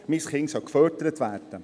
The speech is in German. Mein Kind soll gefördert werden!